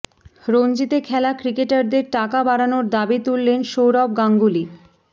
রঞ্জিতে খেলা ক্রিকেটারদের টাকা বাড়ানোর দাবি তুললেন সৌরভ গাঙ্গুলি